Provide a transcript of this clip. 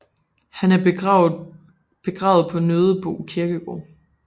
Han er begravet på Nødebo Kirkegård